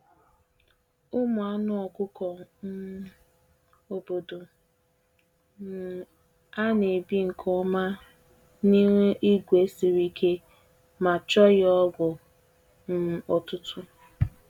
Ụmụ anụ ọkụkọ um obodo um a na-ebi nke ọma n’ihu igwe siri ike ma chọghị ọgwụ um ọtụtụ.